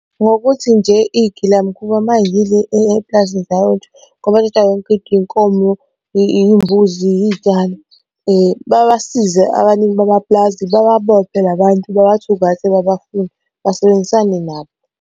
Ngokuthi nje iy'gilamkhuba uma ziyile epulazini iy'nkomo, iy'mbuzi iy'tshalo, babasize abanini bamaplazi bababophe la bantu babathungathe babafune basebenzisane nabo.